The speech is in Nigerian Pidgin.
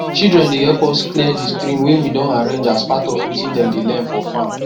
children dey help us clear di stream wey we don arrange as part of wetin dem dey learn for farm